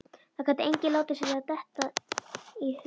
Það gat enginn látið sér detta það í hug.